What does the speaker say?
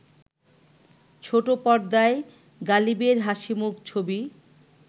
ছোট পর্দায় গালিবের হাসিমুখ ছবি